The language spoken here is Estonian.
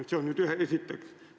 Seda esiteks.